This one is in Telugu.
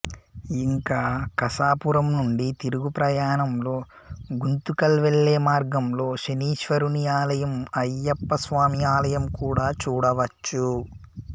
ఇంకా కసాపురం నుండి తిరుగు ప్రయాణంలో గుంతకల్ వెళ్లే మార్గంలో శనీశ్వరుని ఆలయం అయ్యప్ప స్వామి ఆలయం కూడా చూడవచ్చు